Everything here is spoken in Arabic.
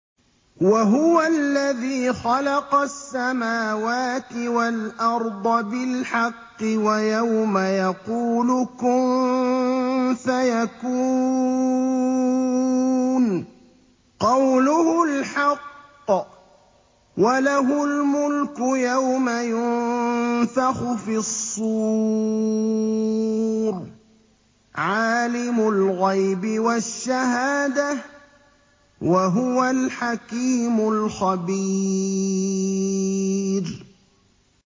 وَهُوَ الَّذِي خَلَقَ السَّمَاوَاتِ وَالْأَرْضَ بِالْحَقِّ ۖ وَيَوْمَ يَقُولُ كُن فَيَكُونُ ۚ قَوْلُهُ الْحَقُّ ۚ وَلَهُ الْمُلْكُ يَوْمَ يُنفَخُ فِي الصُّورِ ۚ عَالِمُ الْغَيْبِ وَالشَّهَادَةِ ۚ وَهُوَ الْحَكِيمُ الْخَبِيرُ